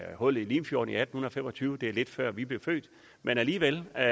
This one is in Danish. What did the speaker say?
hullet i limfjorden i atten fem og tyve det er lidt før vi blev født men alligevel er